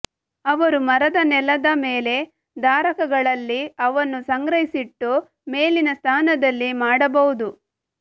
ಅವರು ಮರದ ನೆಲದ ಮೇಲೆ ಧಾರಕಗಳಲ್ಲಿ ಅವನ್ನು ಸಂಗ್ರಹಿಸಿಟ್ಟು ಮೇಲಿನ ಸ್ಥಾನದಲ್ಲಿ ಮಾಡಬಹುದು